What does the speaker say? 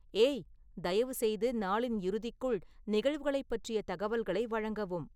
ஏய், தயவுசெய்து நாளின் இறுதிக்குள் நிகழ்வுகளைப் பற்றிய தகவல்களை வழங்கவும்